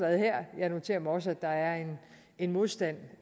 her jeg noterer mig også at der er en modstand